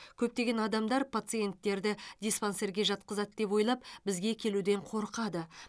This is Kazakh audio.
көптеген адамдар пациенттерді диспансерге жатқызады деп ойлап бізге келуден қорқады